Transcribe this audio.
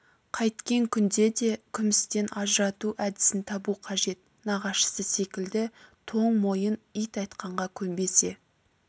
қайткен күнде де күмістен ажырату әдісін табу қажет нағашысы секілді тоң мойын ит айтқанға көнбесе